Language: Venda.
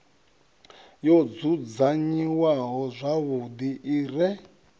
yo dzudzanyiwaho zwavhuḓi i re